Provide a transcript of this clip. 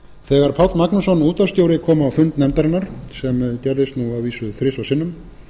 þegar páll magnússon útvarpsstjóri kom á fund nefndarinnar sem gerðist að vísu þrisvar sinnum